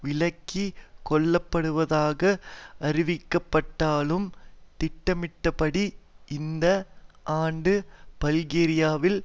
விலக்கி கொள்ளப்படுவதாக அறிவிக்கப்பட்டாலும் திட்டமிட்டபடி இந்த ஆண்டு பல்கேரியாவில்